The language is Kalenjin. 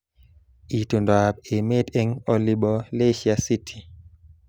Itondoab emet eng olibo Leisure City